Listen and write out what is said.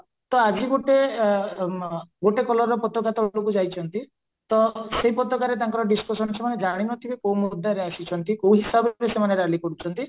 ତ ଆଜି ଗୋଟେ ଗୋଟେ colorର ପତାକା ଦଳକୁ ଯାଇଚ ନ୍ତି ତ ସେଇ ପତାକାରେ ତାଙ୍କର discussion ସେମାନେ ଜାଣିନଥିବେ କୋଉ ଆସିଇଛନ୍ତି କୋଉ ହିସାବରେ ସେମାନେ ରାଲି କରୁଛନ୍ତି